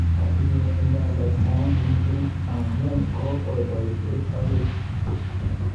Tinye inendet naet missing amu kokwai boishet akoi.